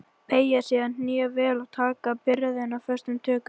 Beygja síðan hné vel og taka byrðina föstum tökum.